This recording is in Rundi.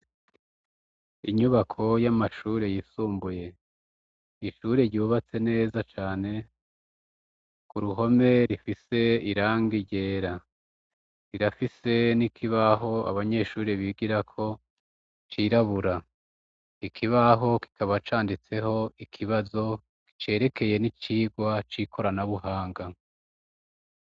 Inyubako y'amashure yisumbuye ishure ryubatse neza cane ku ruhome rifise irange ryera rirafise n'ikibaho abanyeshuri bigirako cirabura ikibaho kikaba canditseho ikibazo cerekeye nicigwa c'ikoranabuhanga.